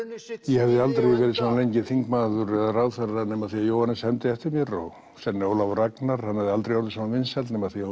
ég hefði aldrei verið svona lengi þingmaður eða ráðherra nema af því að Jóhannes hermdi eftir mér og sennilega Ólafur Ragnar hefði aldrei orðið svona vinsæll nema af því að